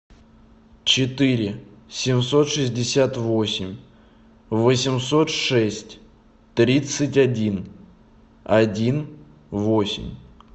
четыре семьсот шестьдесят восемь восемьсот шесть тридцать один один восемь